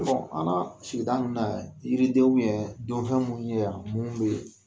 an ka sigida nunnu na yan yiridenw ye donfɛn munun ye yan mun be